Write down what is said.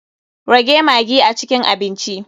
Rage maggi a cikin abinci.